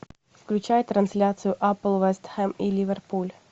включай трансляцию апл вест хэм и ливерпуль